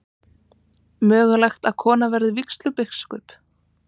Mögulegt að kona verði vígslubiskup